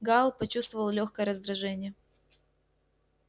гаал почувствовал лёгкое раздражение